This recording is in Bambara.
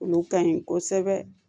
Olu ka ɲi kosɛbɛ